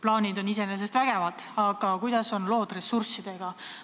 Plaanid on iseenesest vägevad, aga kuidas on lood ressurssidega?